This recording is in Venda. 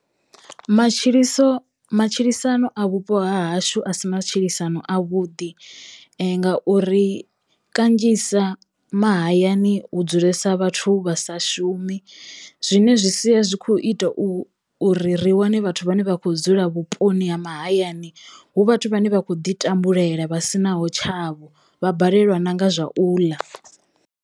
Matshiliso matshilisano a vhupo ha hashu a si matshilisano a vhuḓi ngauri kanzhisa mahayani hu dzulesa vhathu vha sa shumi zwine zwi sia zwi kho ita u uri ri wane vhathu vhane vha kho dzula vhuponi ha mahayani hu vhathu vhane vhakho ḓi tambulela vha sinaho tshavho, vha balelwa nanga zwa u ḽa.